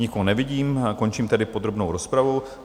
Nikoho nevidím, končím tedy podrobnou rozpravu.